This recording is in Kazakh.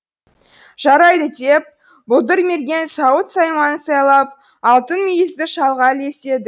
жарайды деп бұлдырмерген сауыт сайманын сайлап алтын мүйізді шалға ілеседі